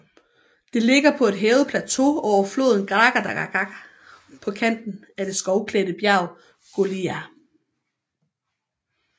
Det ligger på et hævet plateau over floden Gradačka på kanten af det skovklædte bjerg Golija